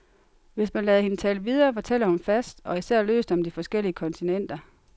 Hvis man lader hende tale videre, fortæller hun fast og især løst om de forskellige kontinenter.